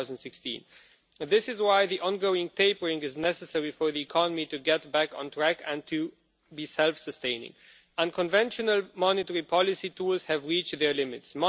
2016. This is why the ongoing tapering is necessary for the economy to get back on track and to be self sustaining. Unconventional monetary policy tools have reached their limits.